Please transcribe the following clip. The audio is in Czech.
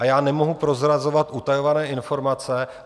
A já nemohu prozrazovat utajované informace.